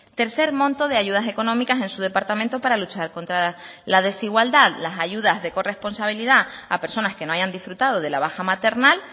tercer monto de ayudas económicas en su departamento para luchar contra la desigualdad las ayudas de corresponsabilidad a personas que no hayan disfrutado de la baja maternal